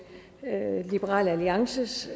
liberal alliances